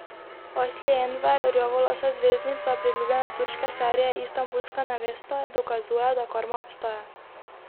Asli Enver, rjavolasa zvezdnica priljubljene turške serije Istanbulska nevesta, dokazuje, da karma obstaja.